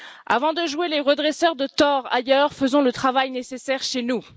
Avant de jouer les redresseurs de torts ailleurs, faisons le travail nécessaire chez nous.